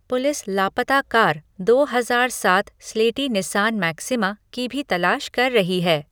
Police लापता कार, दो हजार सात स्लेटी निस्सान मैक्सिमा, की भी तलाश कर रही है।